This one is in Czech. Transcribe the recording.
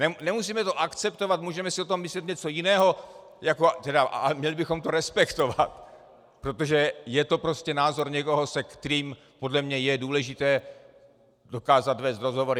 Nemusíme to akceptovat, můžeme si o tom myslet něco jiného, ale měli bychom to respektovat, protože je to prostě názor někoho, se kterým podle mě je důležité dokázat vést rozhovory.